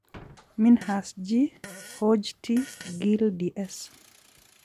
Minhas G, Hodge T, Gill DS.